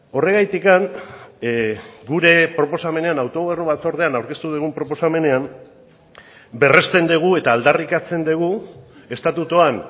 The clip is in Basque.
horregatik gure proposamenean autogobernu batzordean aurkeztu dugun proposamenean berresten dugu eta aldarrikatzen dugu estatutuan